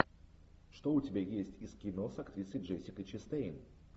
что у тебя есть из кино с актрисой джессикой честейн